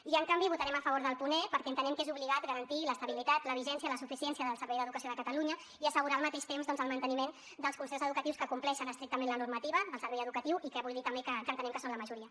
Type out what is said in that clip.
i en canvi votarem a favor del punt e perquè entenem que és obligat garantir l’estabilitat la vigència i la suficiència del servei d’educació de catalunya i assegurar al mateix temps doncs el manteniment dels concerts educatius que compleixen estrictament la normativa del servei educatiu i que vull dir també que entenem que són la majoria